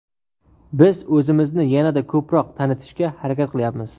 Biz o‘zimizni yanada ko‘proq tanitishga harakat qilyapmiz.